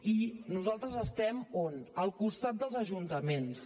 i nosaltres estem on al costat dels ajuntaments